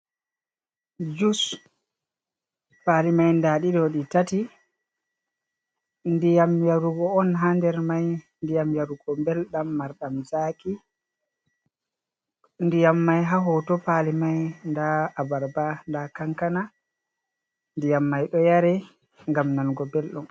Jus: Pali mai nda ɗiɗo ɗi tati, ndiyam yarugo on haa nder mai, ndiyam yarugo belɗam marɗam zaki, ndiyam mai haa hoto pali mai nda abarba, nda kankana, ndiyam mai ɗo yaare ngam nanugo belɗum.